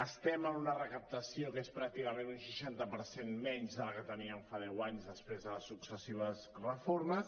estem en una recaptació que és pràcticament un seixanta per cent menys de la que teníem fa deu anys després de les successives reformes